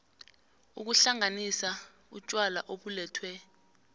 ukuhlanganisa utjwala obulethwe